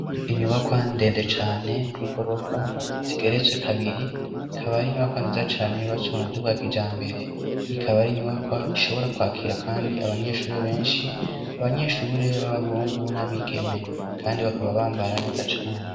Inyubakwa ndende cane y'igorofa zigeretswe kabiri ikaba ari inyubakwa nziza cane yubatse mu buryo bwa kijambere, ikaba ari inyubakwa ishobora kwakira kandi abanyeshuri benshi, abanyeshure b'abahungu n'abigeme kandi bakaba bambara neza cane.